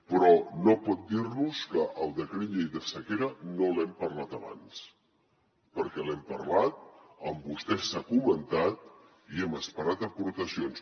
però no pot dir nos que el decret llei de sequera no l’hem parlat abans perquè l’hem parlat amb vostès s’ha comentat i hem esperat aportacions